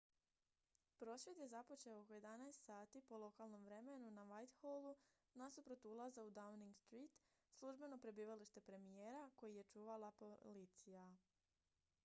prosvjed je započeo oko 11:00 po lokalnom vremenu utc+1 na whitehallu nasuprot ulaza u downing street službeno prebivalište premijera koji je čuvala policija